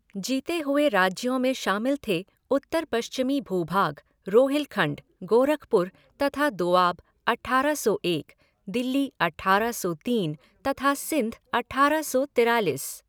जीतें हुए राज्यों में शामिल थे उत्तर पश्चिमी भूभाग, रोहिलखण्ड, गोरखपुर तथा दोआब अठारह सौ एक, दिल्ली अठारह सौ तीन तथा सिंध अठारह सौ तिरालिस।